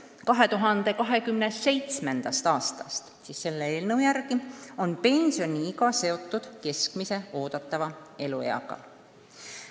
2027. aastast on selle eelnõu järgi pensioniiga seotud keskmise eeldatava elueaga.